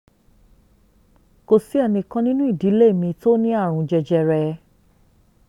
kò sí ẹnìkan kan nínú ìdílé mi tó ní àrùn jẹjẹrẹ